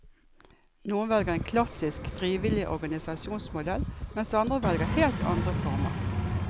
Noen velger en klassisk, frivillig organisasjonsmodell, mens andre velger helt andre former.